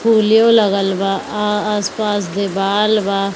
फूलों लगल बा आ आस-पास दीवाल बा।